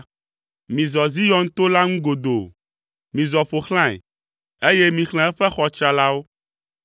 Mizɔ Zion to la ŋu godoo, mizɔ ƒo xlãe, eye mixlẽ eƒe xɔ tsralawo,